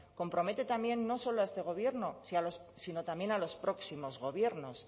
compromete también no solo a este gobierno sino también a los próximos gobiernos